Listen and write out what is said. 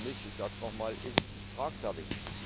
Aber der Kompromiss ich sage es noch mal ist tragfähig.